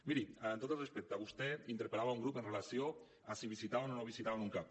miri amb tot el respecte vostè interpel·lava un grup amb relació a si visitaven o no visitaven un cap